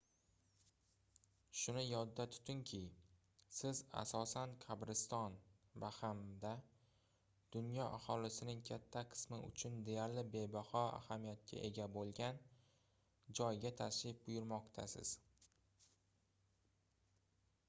shuni yodda tutungki siz asosan qabriston va hamda dunyo aholisining katta qismi uchun deyarli bebaho ahamiyatga ega boʻlgan joyga tashrif buyurmoqdasiz